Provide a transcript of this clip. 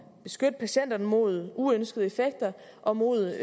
beskytte patienterne mod uønskede effekter og mod